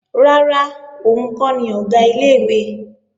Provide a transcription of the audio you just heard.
Rárá, òun kọ́ ni Ọ̀gá ilé-ìwé